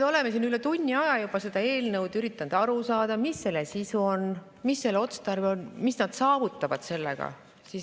Me oleme siin üle tunni aja juba üritanud aru saada, mis selle eelnõu sisu on, mis selle otstarve on, mis nad saavutavad sellega.